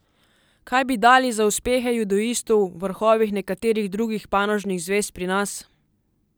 Kaj bi dali za uspehe judoistov v vrhovih nekaterih drugih panožnih zvez pri nas!